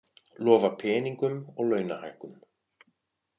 Lofa peningum og launahækkun